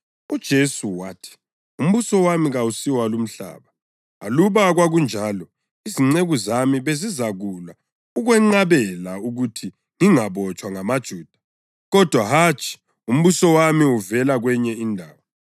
UJesu wathi, “Umbuso wami kawusi walumhlaba. Aluba kwakunjalo izinceku zami bezizakulwa ukwenqabela ukuthi ngingabotshwa ngamaJuda. Kodwa hatshi, umbuso wami uvela kwenye indawo.”